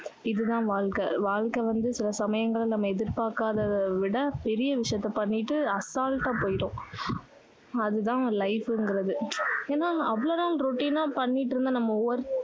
இது தான் வாழ்க்கை வாழ்க்கை வந்து சில சமயங்கள்ல நம்ம எதிர் பார்க்காதத விட பெரிய விஷயத்த பண்ணிட்டு assault ஆ போயிரும் அது தான் life ங்குறது ஏன்னா அவ்வளவு நாள் routine ஆ பண்ணிட்டு இருந்த நம்ம work